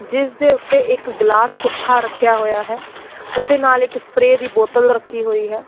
ਜਿਸ ਦੇ ਉੱਤੇ ਇੱਕ ਗਲਾਸ ਪੁੱਠਾ ਰੱਖਿਆ ਹੋਇਆ ਹੈ ਉਹਦੇ ਨਾਲ ਇੱਕ ਸਪਰੇ ਦੀ ਬੋਤਲ ਰੱਖੀ ਹੋਈ ਹੈ।